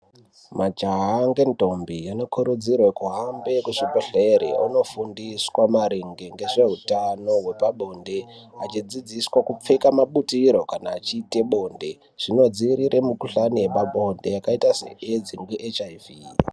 Majaha ngentombi anokurudzirwe kuhambe kuzvibhedhlere onofundiswa maringe ngezveutano hwepabonde, achidzidziswa kupfeka mabutiro kana achiite bonde zvinodzivirire mukuhlani yepabonde yakaita se AIDS ne HIV.